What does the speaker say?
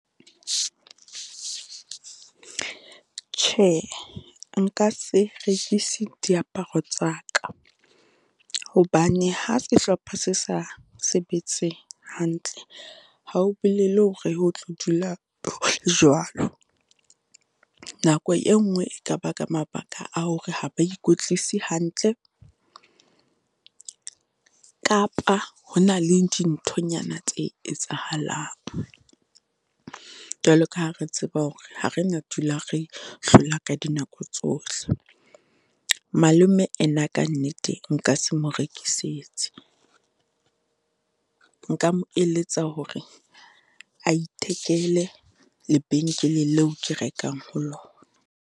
Tjhe, nka se rekise diaparo tsa ka, hobane ha sehlopha se sa sebetse hantle, ha ho bolele hore ho tlo dula ho jwalo. Nako e nngwe e ka ba ka mabaka a hore ha ba ikwetlise hantle kapa ho na le dinthonyana tse etsahalang. Jwalo ka ha re tseba hore ha re na dula re hlola ka dinako tsohle. Malome ena kannete nka se mo rekisetse, nka mo eletsa hore a ithekele lebenkele leo ke rekang ho lona.